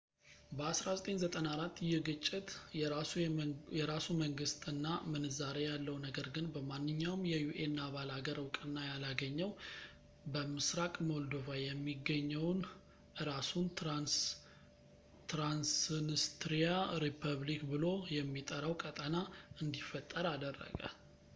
በ 1994 ይህ ግጭት የራሱ መንግስት እና ምንዛሪ ያለው ነገር ግን በማንኛውም የun አባል ሀገር ዕውቅና ያላገኘው በምስራቅ ሞልዶቫ የሚገኘውን እራሱን ትራንስንስትሪያ ሪፑብሊክ ብሎ የሚጠራውን ቀጠና እንዲፈጠር አደረገ